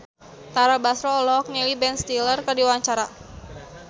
Tara Basro olohok ningali Ben Stiller keur diwawancara